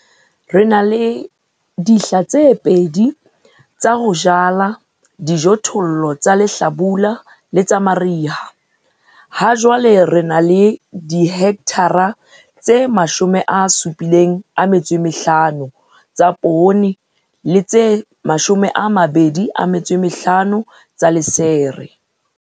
Re na le dihla tse pedi tsa ho jala dijothollo tsa lehlabula le tsa mariha. Hajwale re na le dihekthara tse 75 tsa poone le tse 25 tsa lesere.